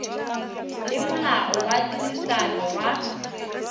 le molao wa tirisano wa